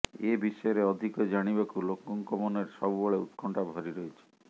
ଏ ବିଷୟରେ ଅଧିକ ଜାଣିବାକୁ ଲୋକଙ୍କ ମନରେ ସବୁବେଳେ ଉତ୍କଣ୍ଠା ଭରି ରହିଛି